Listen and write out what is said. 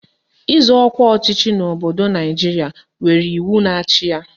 Ịzọ ọkwa ọchịchị n'obodo Naijiria nwere iwu na-achị ya.